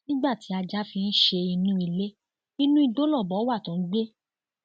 nígbà tí ajá fi ń ṣe inú ilé inú igbó lọbọ wa tó ń gbé